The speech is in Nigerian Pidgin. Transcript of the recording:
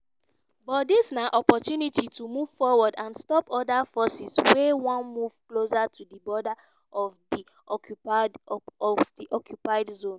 "but dis na opportunity to move forward and stop oda forces wey wan move closer to di border of di occupied zone."